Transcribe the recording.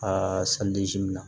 Aa in na